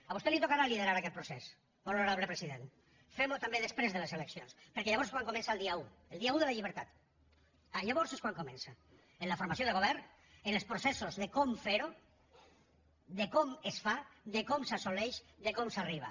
a vostè li tocarà liderar aquest procés honorable president fem ho també després de les eleccions perquè llavors és quan comença el dia un el dia un de la llibertat llavors és quan comença en la formació de govern en els processos de com fer ho de com es fa de com s’assoleix de com s’hi arriba